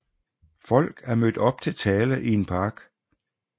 Folk er mødt op til tale i en park